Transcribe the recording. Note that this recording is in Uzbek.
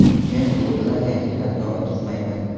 Men klub bilan yangi shartnoma tuzmayman.